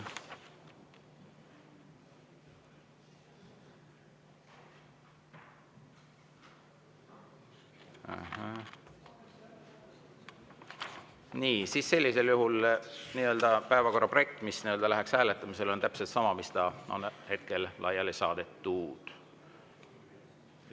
Nii, sellisel juhul on päevakorra projekt, mis läheks hääletamisele, täpselt sama, nagu on hetkel laiali saadetud.